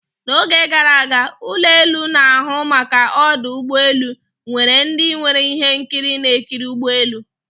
na oge gara aga, ụlọ elu na-ahụ maka ọdụ ụgbọ elu nwere ndị nwere ihe nkiri na-ekiri ụgbọ elu